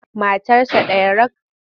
Matarsa ɗaya rak.